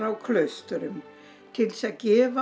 klaustrum til að gefa